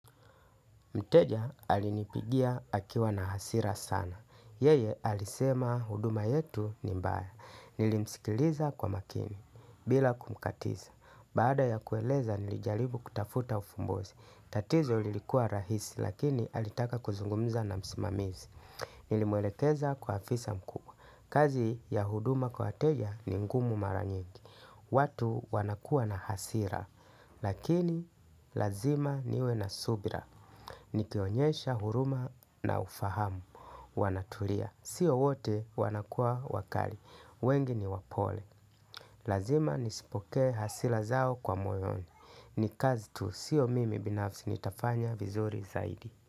Mteja alinipigia akiwa na hasira sana. Yeye alisema huduma yetu ni mbaya. Nilimsikiliza kwa makini bila kumkatiza. Baada ya kueleza nilijalibu kutafuta ufumbozi. Tatizo ilikuwa rahisi lakini alitaka kuzungumiza na msimamizi. Nilimwelekeza kwa afisa mkuu. Kazi ya huduma kwa wateja ni ngumu mara nyingi. Watu wanakua na hasira lakini lazima niwe na subira. Nikionyesha huruma na ufahamu Wanatulia. Sio wote wanakua wakali. Wengi ni wapole. Lazima nisipoke hasira zao kwa moyoni. Ni kazi tu. Sio mimi binafsi nitafanya vizuri zaidi.